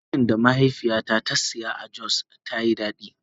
Burodin da mahaifiyata ta saya a Jos ta Yi daɗi.